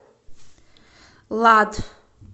лад